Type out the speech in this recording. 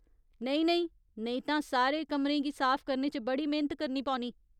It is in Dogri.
नेईं नेईं , नेईं तां सारे कमरें गी साफ करने च बड़ी मेह्‌नत करनी पौनी !